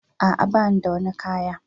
A'a, ba ni da wani kaya.